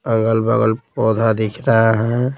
अगल-बगल पौधा दिख रहा है।